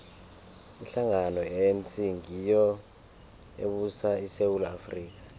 ihlangano ye anc ngiyo ebusa isewula afrika